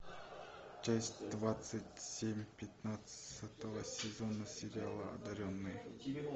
часть двадцать семь пятнадцатого сезона сериала одаренные